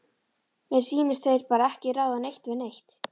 Mér sýnist þeir bara ekki ráða neitt við neitt.